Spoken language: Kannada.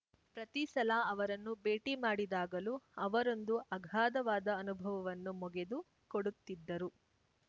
ಪ್ರತಿ ಸಲ ಅವರನ್ನು ಭೇಟಿ ಮಾಡಿದಾಗಲೂ ಅವರೊಂದು ಅಘಾಧವಾದ ಅನುಭವವನ್ನು ಮೊಗೆದು ಕೊಡುತ್ತಿದ್ದರು